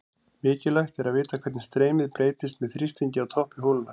Mikilvægt er að vita hvernig streymið breytist með þrýstingi á toppi holunnar.